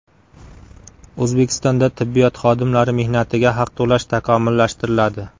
O‘zbekistonda tibbiyot xodimlari mehnatiga haq to‘lash takomillashtiriladi.